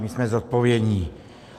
My jsme zodpovědní.